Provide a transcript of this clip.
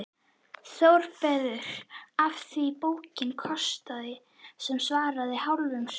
ÞÓRBERGUR: Af því bókin kostaði sem svaraði hálfum skósólum.